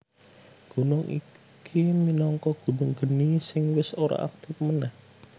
Gunung iki minangka gunung geni sing wis ora aktif manèh